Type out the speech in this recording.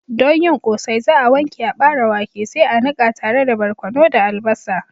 Don yin Ƙosai za'a wanke aɓare wake sai a niƙa tare da barkono da albasa.